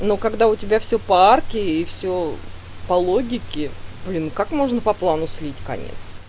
ну когда у тебя всё по арке и всё по логике блин как можно по плану слить конец